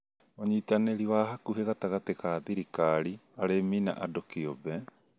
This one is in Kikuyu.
ũnyitanĩri wa hakuhĩ gatagatĩ ka thirikari, arĩmi, na andũ kĩũmbe